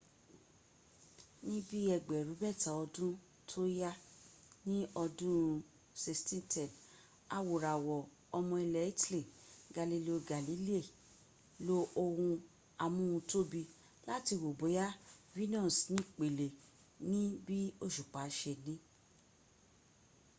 níbí ẹgbẹ̀rún mẹ́ta ọdún tó yá ní ọdún 1610 awòràwọ̀ ọmọ ilẹ̀ italy galileo galilei lo ohun amóhuntóbi láti wo bóyá venus nípele níbi òṣùpá se ní